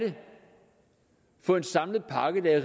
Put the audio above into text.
for en samlet pakke der er